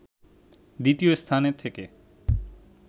দ্বিতীয় স্থানে থেকে